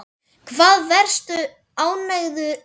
Hvað varstu ánægður með?